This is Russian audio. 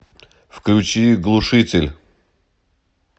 включи глушитель